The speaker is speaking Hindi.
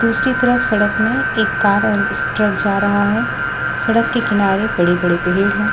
दूसरी तरफ सड़क में एक कार और ट्रक जा रहा है सड़क के किनारे बड़े-बड़े पेड़ हैं।